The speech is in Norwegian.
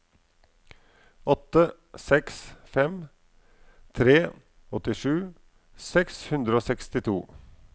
åtte seks fem tre åttisju seks hundre og sekstito